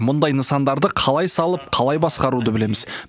мұндай нысандарды қалай салып қалай басқаруды білеміз